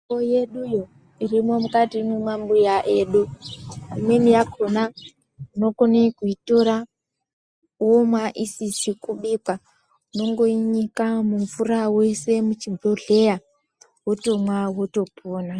Mutombo yeduyo irimwo mukati mwemambuya, imweni yakhona tinokone kuitora womwa isizi kubikwa. Unongoinyika mumvura woisa muchibhodhleya, wotomwa wotopona.